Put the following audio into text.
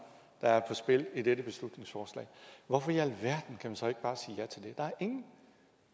der er på spil i dette beslutningsforslag hvorfor i alverden kan man så ikke bare sige ja til det der er ingen